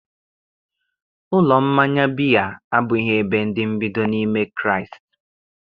Ụlọ mmanya biya abụghị ebe ndị mbido n'ime Kraịst